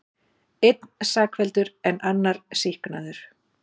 Einn sakfelldur en annar sýknaður